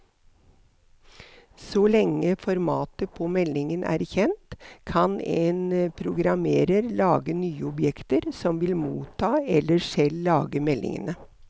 Så lenge formatet på meldingen er kjent, kan en programmerer lage nye objekter som vil motta eller selv lage meldingene.